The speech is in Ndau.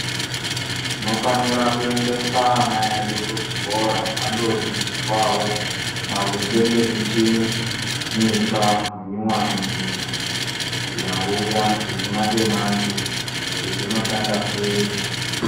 Tinofanira kuendesa ana edu kuzvikora vandoodzidziswawo maringe ngemichini mitsva minyowani iyi yauya dzechimanje manje kuti dzinoshanda sei.